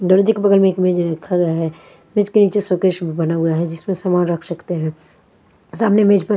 दर्जे के बगल में एक मेज़ भी रखा गया है जिसके नीचे शो-केस भी बना हुआ है जिसपे सामान रख सकते हैं सामने मेज पर--